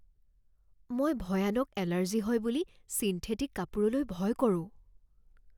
মই ভয়ানক এলাৰ্জি হয় বুলি ছিণ্ঠেটিক কাপোৰলৈ ভয় কৰোঁ।